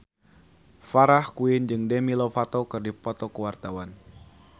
Farah Quinn jeung Demi Lovato keur dipoto ku wartawan